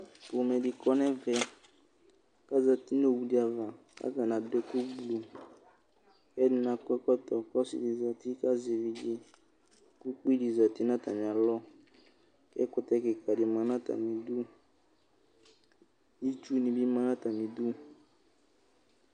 ƒomɛ di kɔnu ɛvɛku azati nʋ owu di'avaku atani adʋ ɛkʋ blʋkʋ ɛdini akɔ ɛkɔtɔ ku ɔsidi zati ku azɛ evidzekʋ ukpi di zati nʋ atami alɔku ɛkutɛ kika di ma nu atami'duitsu nibi ma nʋ atamidu